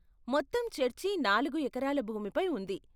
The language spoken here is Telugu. మొత్తం చర్చి నాలుగు ఎకరాల భూమిపై ఉంది.